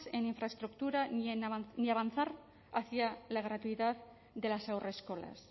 en infraestructura ni avanzar hacia la gratuidad de las haurreskolas